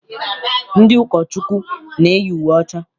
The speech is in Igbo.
Ndị ụkọchukwu na-eyi uwe ọcha.